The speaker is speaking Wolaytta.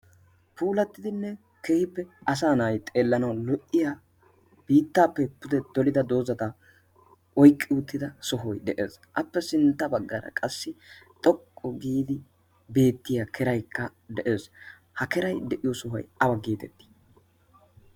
puulattidinne kehippe asa na'ay xeellanau lu'iya biittaappe pude dolida doozadaa oiqqi uuttida sohoi de'ees. appe sintta baggaara qassi xoqqu giidi beettiya keraikka de'ees ha keray de'iyo sohoy awa giitettii?